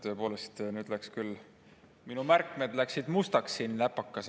Tõepoolest, nüüd läksid küll minu märkmed mustaks siin läpakas.